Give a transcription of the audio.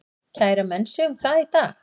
Kæra menn sig um það í dag?